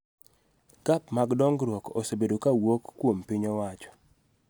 Gap mag dongruok osebedo ka wuok kuom piny owachoo